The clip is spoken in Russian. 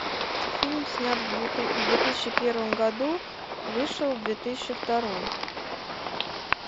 фильм снят в две тысячи первом году вышел в две тысячи втором